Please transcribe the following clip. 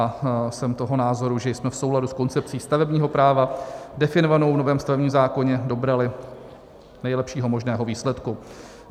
A jsem toho názoru, že jsme v souladu s koncepcí stavebního práva definovanou v novém stavebním zákoně dobrali nejlepšího možného výsledku.